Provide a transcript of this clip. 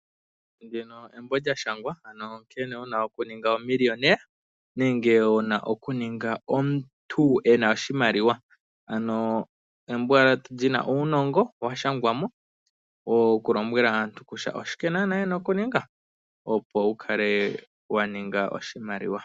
Ndino eembo lyashangwa ano nkene wuna okuninga omiliyonela nenge wuna okuninga omuntu eno oshimaliwa. Embo lyina uunongo washangwano wokulombwela aantu kusha oshike naana yena okuninga opo wukale waning oshimaliwa.